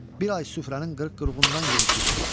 Bir ay süfrənin qırıq-qırığından yemişik.